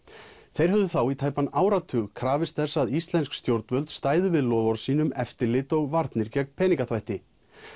þeir höfðu þá í tæpan áratug krafist þess að íslensk stjórnvöld stæðu við loforð sín um eftirlit og varnir gegn peningaþvætti